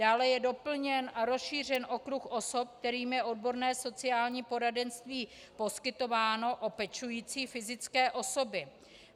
Dále je doplněn a rozšířen okruh osob, kterým je odborné sociální poradenství poskytováno, o pečující fyzické osoby.